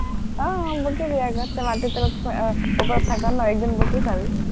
আহ ফুকিবি আকৌ, তই মাটি তলত থাক ন, ওপৰত থাক, এক দিন ভুকি চাবি